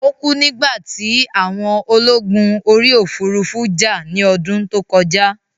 Ó kú nígbà tí àwọn ológun orí òfurufú jà ní ọdún tó kọjá